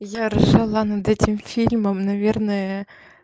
я ржала над этим фильмом наверное